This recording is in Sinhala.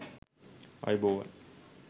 ආයුබෝවන්